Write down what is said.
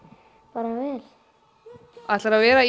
bara vel ætlarðu að vera